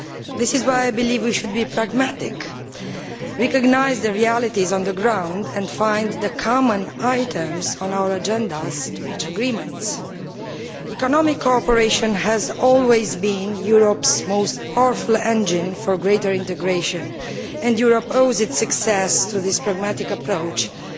This is why I believe we should be pragmatic, recognise the realities on the ground, and find common items on our agendas to reach agreements. Economic cooperation has always been Europe's most powerful engine for greater integration and Europe has owed its success to this pragmatic approach since